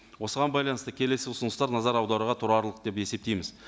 осыған байланысты келесі ұсыныстар назар аударуға тұрарлық деп есептейміз